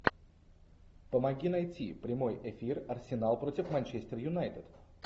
помоги найти прямой эфир арсенал против манчестер юнайтед